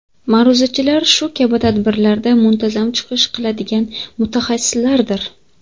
Ma’ruzachilar shu kabi tadbirlarda muntazam chiqish qiladigan mutaxassislardir.